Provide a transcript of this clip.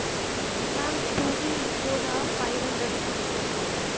mam ECO ਦਾ five hundred rupees ਲੈਂਦੇ ਨੇ